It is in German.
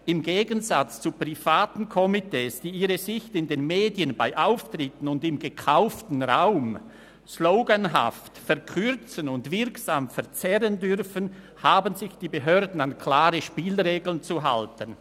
«Im Gegensatz zu privaten Komitees, die ihre Sicht in den Medien, bei Auftritten und im gekauften Raum [Plakate, Inserate] sloganhaft verkürzen und wirksam verzerren dürfen, haben sich die Behörden an klare Spielregeln zu halten.